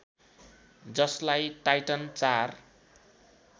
जसलाई टाइटन ४